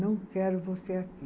Não quero você aqui.